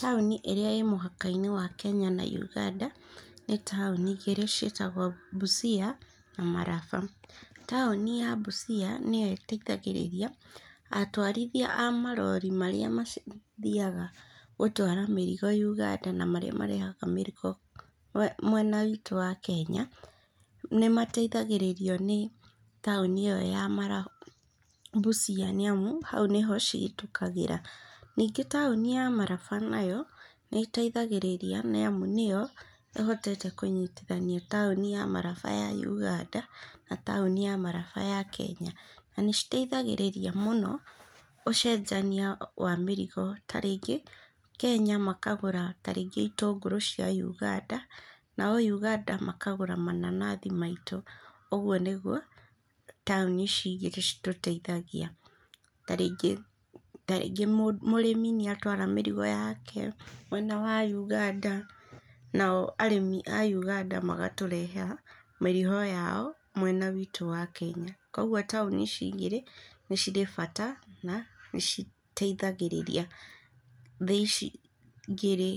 Taũni ĩrĩa ĩ mũhaka-inĩ wa Kenya na Uganda, nĩ taũni igĩrĩ ciĩtagwo Mbucia na Maraba. Taũni ya mbucia nĩo ĩteithagĩrĩria atwarithia a marori marĩa mathiaga gũtwara mĩrigo Uganda na marĩa marehaga mĩrigo mwena wĩtũ wa Kenya. Nĩ mateithagĩrĩrio nĩ taũni ĩyo ya Mbucia, nĩ amu hau nĩho cihetũkagĩra. Ningĩ taũni ya Maraba nayo nĩ ĩteithagĩrĩria, nĩamu nĩo ĩhotete kũnyitithania taũni ya Maraba ya Uganda na taũni ya Maraba ya Kenya na nĩ citeithagĩrĩria mũno ũcenjania wa mĩrigo ta rĩngĩ Kenya makagũra ta rĩngĩ itũngũrũ cia Uganda, nao Uganda makagũra mananathi maitũ, ũguo nĩguo taũni ici igĩrĩ citũteithagia, ta rĩngĩ, ta rĩngĩ mũrĩmi nĩatwara mĩrigo yake mwena wa Uganda, nao arĩmi a Uganda magatũrehera mĩrigo yao mwena witũ wa Kenya. Koguo taũni ici igĩrĩ, nĩ cirĩ bata na nĩciteithagĩrĩria thĩ ici igĩrĩ